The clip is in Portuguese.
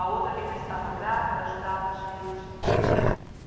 A outra que ainda estava grávida ajudava a gente.